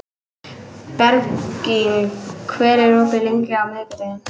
Bergrín, hvað er opið lengi á miðvikudaginn?